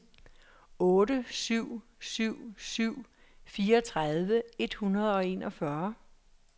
otte syv syv syv fireogtredive et hundrede og enogfyrre